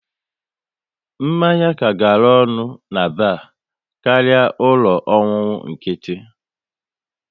Mmanya ka gara ọnụ na bar karịa ụlọ ọṅụṅụ nkịtị